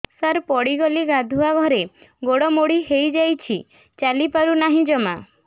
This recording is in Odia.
ସାର ପଡ଼ିଗଲି ଗାଧୁଆଘରେ ଗୋଡ ମୋଡି ହେଇଯାଇଛି ଚାଲିପାରୁ ନାହିଁ ଜମା